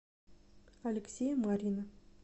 алексея марьина